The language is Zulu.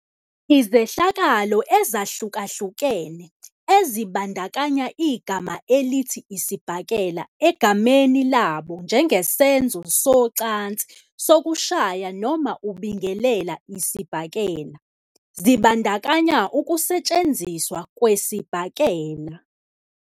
Izehlakalo ezahlukahlukene, ezibandakanya igama elithi "isibhakela" egameni labo njengesenzo socansi sokushaya noma ukubingelela isibhakela, zibandakanya ukusetshenziswa kwesibhakela.